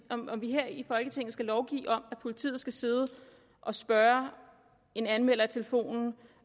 her i folketinget skal lovgive om at politiet skal sidde og spørge en anmelder i telefonen